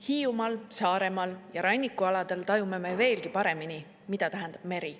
Hiiumaal, Saaremaal ja rannikualadel tajume me veelgi paremini, mida tähendab meri.